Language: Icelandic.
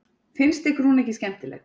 Fannst ykkur hún ekki skemmtileg?